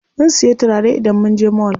Zan siya turare idan munje mall.